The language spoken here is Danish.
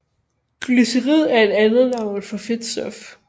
Glycerid er et andet navn for fedtstof